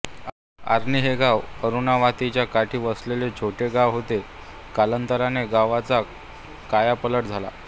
आर्णी हे गाव अरूणावातीच्या काठी वसलेले छोटे गाव होते कालांतराने गावाचा कायापालट झाला